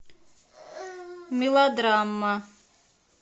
мелодрама